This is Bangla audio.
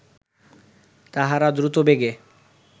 তাঁহারা দ্রুতবেগে